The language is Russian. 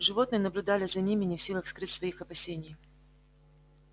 животные наблюдали за ними не в силах скрыть своих опасений